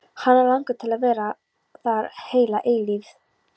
Hana langar til að vera þar heila eilífð.